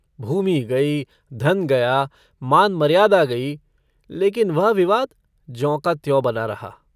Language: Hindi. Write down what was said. भूमि गई धन गया मान-मर्यादा गई, लेकिन वह विवाद ज्यों का त्यों बना रहा।